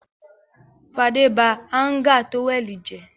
Fadé ba háńgà tówẹ́lì jẹ́.